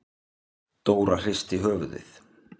Dóra hristi höfuðið.